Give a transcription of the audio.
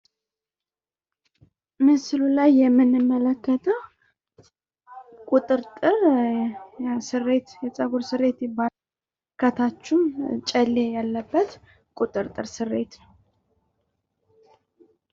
ምስሉ ላይ የምንመለከተው ቁጥርጥር ስሬት ነው። ከታቹም ጨሌ ያለበት ቁጥርጥር ስሬት ነው ።